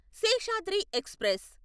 Seshadri express